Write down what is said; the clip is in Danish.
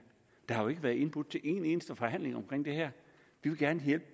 der har jo ikke været indbudt til en eneste forhandling om det vi vil gerne hjælpe